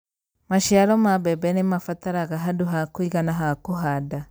Maciaro ma mbembe nĩ mabataraga handũ ha kũigana ha kũhanda.